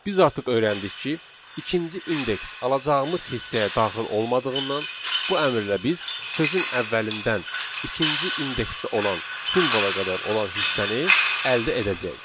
Biz artıq öyrəndik ki, ikinci indeks alacağımız hissəyə daxil olmadığından, bu əmrlə biz sözün əvvəlindən ikinci indeksdə olan simvola qədər olan hissəni əldə edəcəyik.